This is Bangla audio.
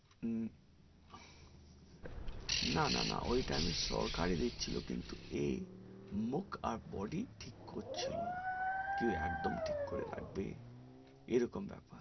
না না ঐটা আমার সরকারেরই ছিল এই মুখ আর body ঠিক করছিলো না কেউ একদম ঠিকই লাগবে এরকম ব্যাপার